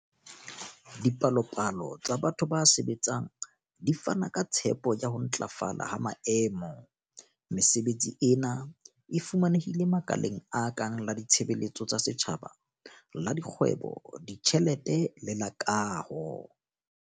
Dipalopalo tsa batho ba sebetsang di fana ka tshepo ya ho ntlafala ha maemo. Mesebetsi ena e fumanehile makaleng a kang la ditshebeletso tsa setjhaba, la dikgwebo, ditjhelete le la kaho.